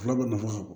Fila bɛ nafa